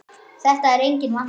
Þetta er enginn vandi!